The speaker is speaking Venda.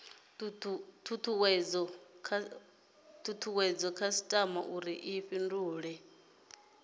tutuwedze khasitama uri i fhindule